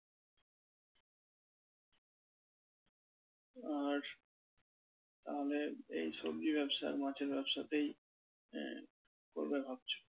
আর তাহলে এই সবজি ব্যবসা মাছের ব্যবসাতেই হ্যাঁ করবে ভাবছো?